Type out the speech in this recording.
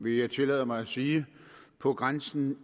vil jeg tillade mig at sige på grænsen